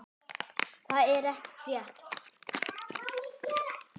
Það er ekki frétt.